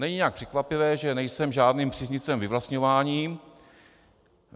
Není nijak překvapivé, že nejsem žádným příznivcem vyvlastňování.